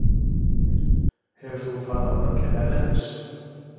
Hefur þú farið á völlinn erlendis?